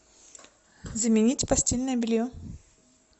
заменить постельное белье